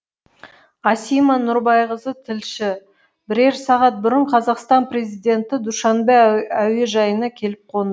асима нұрбайқызы тілші бірер сағат бұрын қазақстан президенті душанбе әуежайына келіп қонды